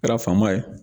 Kɛra fama ye